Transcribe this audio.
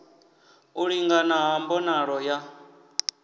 u lingana ha mbonalo ya